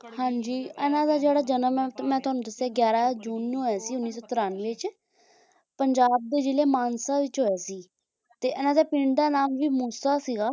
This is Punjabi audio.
ਹਾਂ ਜੀ ਇਨ੍ਹਾਂ ਦਾ ਜਿਹੜਾ ਜਨਮ ਹੈਂ ਮੈਂ ਤੁਹਾਨੂੰ ਦੱਸਿਆ ਗਿਆਰਾਂ ਜੂਨ ਨੂੰ ਹੋਇਆ ਉੱਨੀ ਸੌ ਤਰੰਨਵੇਂ ਚ ਪੰਜਾਬ ਦੇ ਜਿਲ੍ਹੇ ਮਾਨਸਾ ਚ ਹੋਇਆ ਸੀ ਤੇ ਇਨ੍ਹਾਂ ਦੇ ਪਿੰਡ ਦਾ ਨਾਮ ਵੀ ਮੂਸਾ ਸੀਗਾ